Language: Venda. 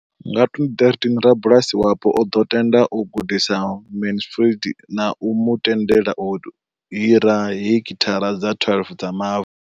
Nga 2013, rabulasi wapo o ḓo tenda u gudisa Mansfield na u mu tendela u hira heki thara dza 12 dza mavu.